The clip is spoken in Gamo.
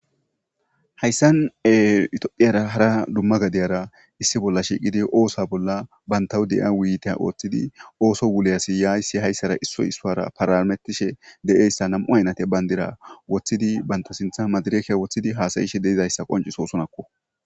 Haysan etophphiyara hara Dumma gadiyara issi bollan shiqidi bantaw diya wuyiyita othidi osuwan wuliya issi isara parametishe diyaysa nam'u bandira wothidi bantaw sintha madirekiya wothidi hassa'ishe diyaysa qoncisosonako